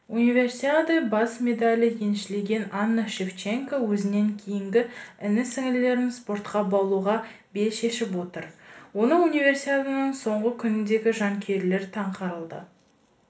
универсиада бес медальді еншілеген анна шевченко өзінен кейінгі іні-сіңілілерін спортқа баулуға бел шешіп отыр оны универсиаданың соңғы күніндегі жанкүйерлер таңқалдырды